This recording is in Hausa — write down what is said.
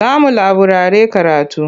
Za mu laburare karatu.